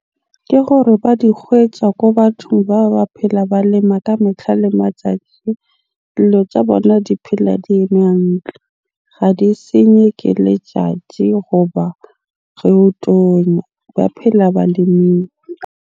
Ke gore ba di kgwetsa ko bathong bao ba phela ba lema ka metlha le matjatji. tja bona di phela di eme hantle. Ga di senywe ke letjatji goba o tonya. Ba phela .